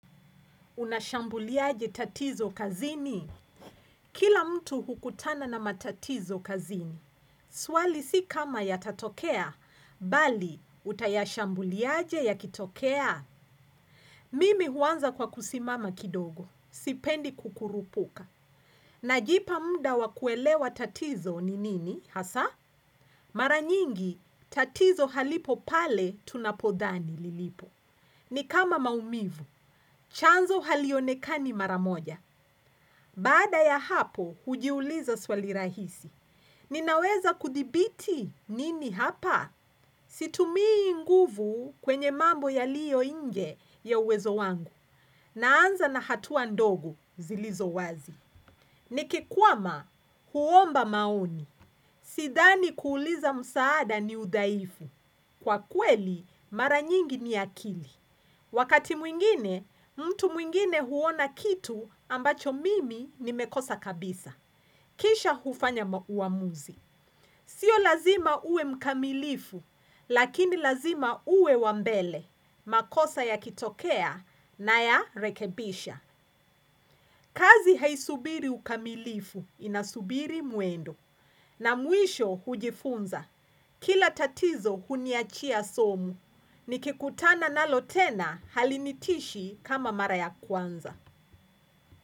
Unashambuliaje tatizo kazini? Kila mtu hukutana na matatizo kazini. Swali si kama yatatokea, bali utayashambuliaje yakitokea. Mimi huanza kwa kusimama kidogo, sipendi kukurupuka. Najipa mda wa kuelewa tatizo ni nini, hasa? Mara nyingi, tatizo halipo pale tunapodhani lilipo. Ni kama maumivu, chanzo halionekani mara moja. Baada ya hapo, hujiuliza swali rahisi. Ninaweza kudhibiti nini hapa? Situmii nguvu kwenye mambo yaliyo inje ya uwezo wangu. Naanza na hatua ndogo zilizo wazi. Nikikwama, huomba maoni. Sidhani kuuliza msaada ni udhaifu. Kwa kweli, mara nyingi ni akili. Wakati mwingine, mtu mwingine huona kitu ambacho mimi nimekosa kabisa. Kisha hufanya ma huwamuzi. Sio lazima ue mkamilifu, lakini lazima ue wa mbele, makosa yakitokea nayarekebisha. Kazi haisubiri ukamilifu, inasubiri muendo. Na mwisho hujifunza, kila tatizo huniachia somu, nikikutana nalo tena halinitishi kama mara ya kwanza.